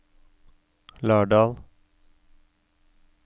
Lardal